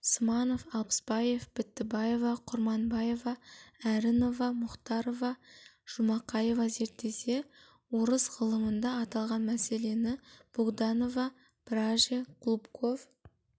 сманов алпысбаев бітібаева құрманбаева әрінова мұхтарова жұмақаева зерттесе орыс ғылымында аталған мәселені богданова браже голубков